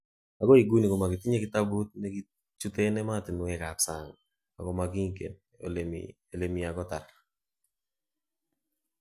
Okoi iguni komokitinye kitabut nekichuten emotinwek kap sang akomokigen elemi," akotar.